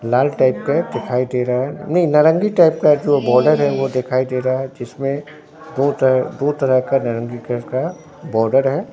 लाल type के दिखाई दे रहा है नही नारंगी टाइप का जो बॉर्डर है ओ दिखाई दे रहा है जिसमें दो तरह दो तरह का नारंगी कलर का बॉर्डर है।